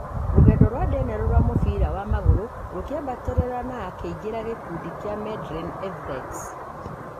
Rũgendo rwa Daniel rwa mũbira wa magũrũ rũkĩambatĩrĩra na akĩingĩra gĩkundi kĩa Madylin Evrex